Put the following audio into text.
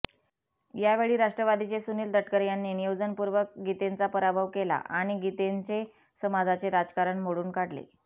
यावेळी राष्ट्रवादीचे सुनील तटकरे यांनी नियोजनपूर्वक गीतेंचा पराभव केला आणि गीतेंचे समाजाचे राजकारण मोडून काढले